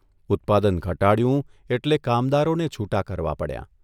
ઉત્પાદન ઘટાડ્યું એટલે કામદારોને છૂટા કરવા પડ્યાં.